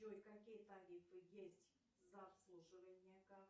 джой какие тарифы есть за обслуживание карты